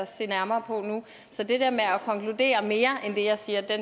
se nærmere på nu så det der med at konkludere mere end det jeg siger